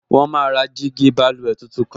Wọ́n máa ra jígí báluwẹ̀ tuntun kan